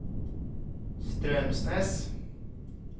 Straumsnes